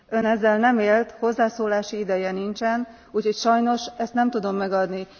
Ön ezzel nem élt, hozzászólási ideje nincsen, úgyhogy sajnos, ezt nem tudom megadni.